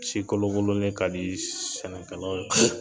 Si kolokololen ka di sɛnɛkɛlaw ye